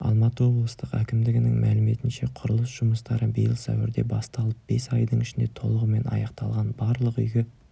алматы облыстық әкімдігінің мәліметінше құрылыс жұмыстары биыл сәуірде басталып бес айдың ішінде толығымен аяқталған барлық үйге